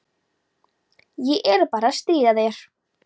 Ég er bara að stríða þér.